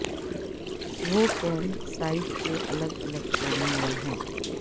وہ camp site کے الگ الگ کونے میں ہیں